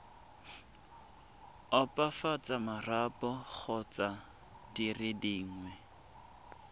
opafatsa marapo kgotsa dire dingwe